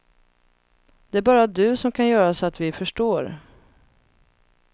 Det är bara du som kan göra så att vi förstår.